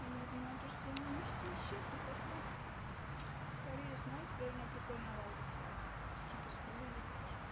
и я понимаю что мои мышцы исчезли просто испарились но теперь у меня прикольно овал лица типа какие-то скулы есть даже